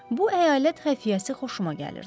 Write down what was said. Bu əyalət xəfiyyəsi xoşuma gəlirdi.